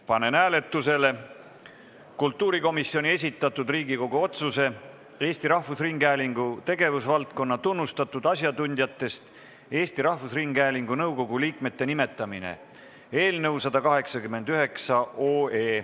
Panen hääletusele kultuurikomisjoni esitatud Riigikogu otsuse "Eesti Rahvusringhäälingu tegevusvaldkonna tunnustatud asjatundjatest Eesti Rahvusringhäälingu nõukogu liikmete nimetamine" eelnõu 189.